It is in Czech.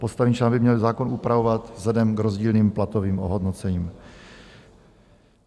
Postavení člena by měl zákon upravovat vzhledem k rozdílným platovým ohodnocením.